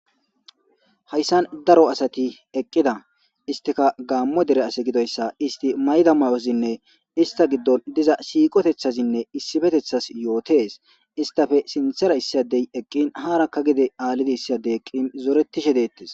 Haysan daro asati eqida isstika gamo dere asi gidoysa isti mayido mayozinne ista gidon diza siqotetethazinne issipetethazi yotes istape sinthera issi adey eqin haraka gede issi sdey eqin zoretishe detes